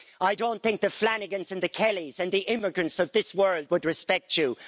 I don't think the Flanagans and the Kellys and the immigrants of this world would respect you.